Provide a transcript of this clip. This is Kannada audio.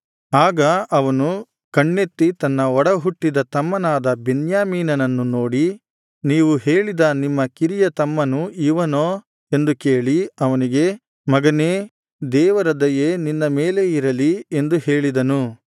ಆಗ ಅವನು ಕಣ್ಣೆತ್ತಿ ತನ್ನ ಒಡಹುಟ್ಟಿದ ತಮ್ಮನಾದ ಬೆನ್ಯಾಮೀನನನ್ನು ನೋಡಿ ನೀವು ಹೇಳಿದ ನಿಮ್ಮ ಕಿರಿಯ ತಮ್ಮನು ಇವನೋ ಎಂದು ಕೇಳಿ ಅವನಿಗೆ ಮಗನೇ ದೇವರ ದಯೆ ನಿನ್ನ ಮೇಲೆ ಇರಲಿ ಎಂದು ಹೇಳಿದನು